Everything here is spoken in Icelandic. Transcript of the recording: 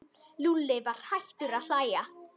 Lúlli var hættur að hlæja.